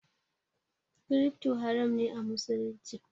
Crypto haram ne a musulunci